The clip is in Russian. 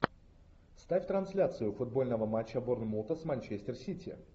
ставь трансляцию футбольного матча борнмута с манчестер сити